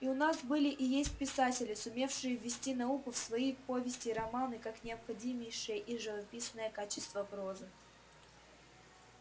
и у нас были и есть писатели сумевшие ввести науку в свои повести и романы как необходимейшее и живописное качество прозы